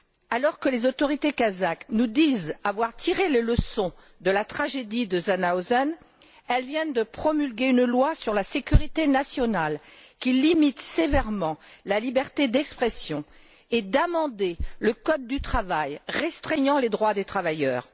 Alors que les autorités kazakhes nous disent avoir tiré les leçons de la tragédie de Janaozen, elles viennent de promulguer une loi sur la sécurité nationale qui limite sévèrement la liberté d'expression et d'amender le code du travail restreignant les droits des travailleurs.